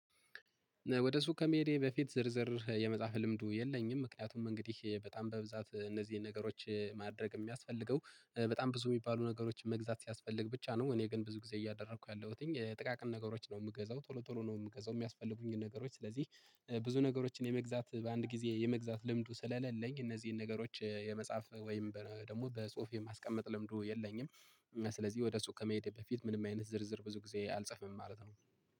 ወደ ሱቅ ከመሄዴ በፊት ዝርዝር የመጽሐፍ ልምዱ የለኝም ምክንያቱም እንግዲህ በጣም በብዛት እነዚህን ነገሮች ማድረግ የሚያስፈልገው በጣም ብዙ የሚባሉ ነገሮችን መግዛት ሲያስፈልግ ብቻ ነው። እኔ ግን ብዙ ጊዜ እያደረኩ ያለሁትኝ ጥቃቅን ነገሮች ነው የምገዛው ቶሎ ቶሎ ነው የምገዛው የሚያስፈልጉኝን ነገሮች። ስለዚህ ብዙ ነገሮችን የመግዛት በአንድ ጊዜ የመግዛት ልምዱ ስለሌለኝ እነዚህን ነገሮች የመጻፍ ወይም ደግሞ በጽሁፍ የማስቀመጥ ልምዱ የለኝም። እና ስለዚህ ወደ ሱቅ ከመሄዴ በፊት ምንም አይነት ዝርዝር ብዙ ጊዜ አልጽፈም ማለት ነው